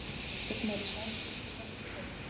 Viktor Smári Sæmundsson, forvörður.